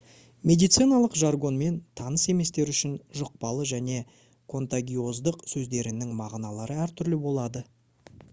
медициналық жаргонмен таныс еместер үшін жұқпалы және контагиоздық сөздерінің мағыналары әртүрлі болады